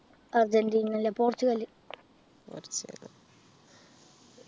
Argentina അല്ല Portugal